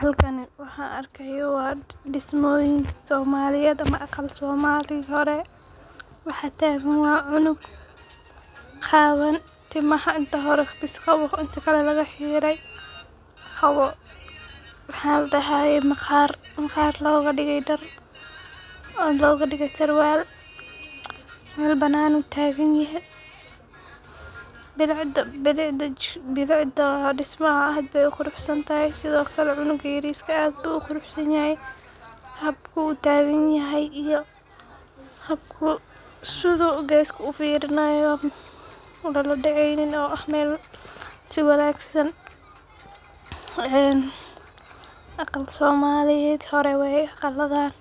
Halkani waxaan argayoh wa dismyin soomaliyad, ama aqal soomali hore, waxaa tagan cunug qawan tamaha inta hora baas qabo inta kle laga xiray, qabo waxa ladahay maqar maqar loga digay dar , loga digay sarwar, mal bananah taganyahay, bilicda dismaha way quruxsatahay sidaa okle cunka yarista aad ayu uquruxsanyahy, hada baa utaganyahay iyo xabka sidu gaska ufirnayoh, mal ladacaynin oo ah sii wagsan, aqal soomaliyad horad aqaladan,